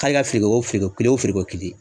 K'ale ka feere o feereko kelen o feere ko kelen